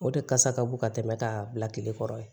O de kasa ka bon ka tɛmɛ k'a bila tile kɔrɔ yen